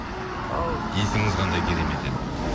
ау есіміңіз қандай керемет еді